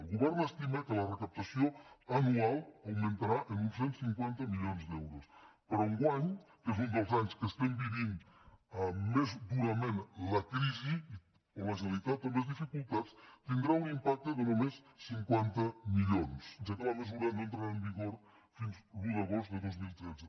el govern estima que la recaptació anual augmentarà en uns cent i cinquanta milions d’euros però enguany que és un dels anys que vivim més durament la crisi i on la generalitat té més dificultats tindrà un impacte de només cinquanta milions ja que la mesura no entrarà en vigor fins a l’un d’agost de dos mil tretze